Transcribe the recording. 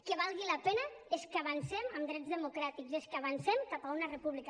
que valgui la pena és que avancem en drets democràtics és que avancem cap a una república